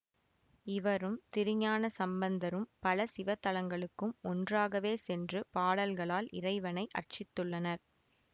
இவரும் திருஞான சம்பந்தரும் பல சிவத்தலங்களுக்கும் ஒன்றாகவே சென்று பாடல்களால் இறைவனை அர்ச்சித்துள்ளனர்